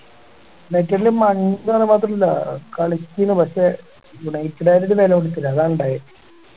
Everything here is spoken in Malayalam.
united ല് മങ്ങിന്ന് മാത്രല്ല കളിച്ചീനു പക്ഷെ united ആയോണ്ട് ഒരു വെല കളിക്കൂല്ലേ അതാണുണ്ടായേ